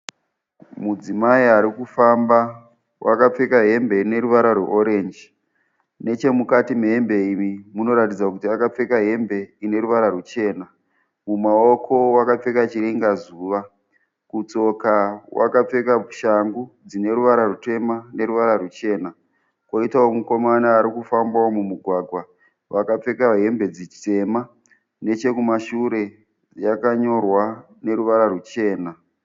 Mudzimai ari kufamba wakapfeka hembe ine ruvara rweorenji. Nechemukati mehembe iyi munoratidza kuti akapfeka hembe ine ruvara ruchena. Mumaoko akapfeka chiringazuva. Kutsoka wakapfeka shangu dzine ruvara rutema neruvara ruchena kwoitawo mukomana ari kufambawo mumugwagwa akapfeka hembe dzitema nechekumashure yakanyorwa neruvara ruchena.